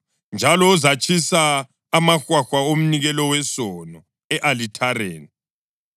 Njalo uzatshisa amahwahwa omnikelo wesono e-alithareni.